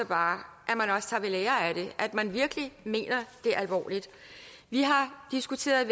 bare at man også tager ved lære af det at man virkelig mener det alvorligt vi har diskuteret